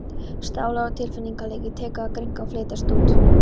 Sálar- og tilfinningalífið tekur að grynnka og fletjast út.